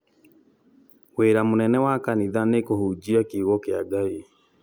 wĩra mũnene wa kanitha nĩ kũhunjia kiugo kĩa Ngai